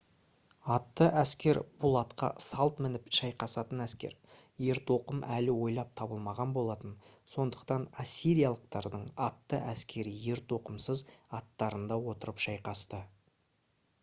атты әскер бұл атқа салт мініп шайқасатын әскер ертоқым әлі ойлап табылмаған болатын сондықтан ассириялықтардың атты әскері ертоқымсыз аттарында отырып шайқасты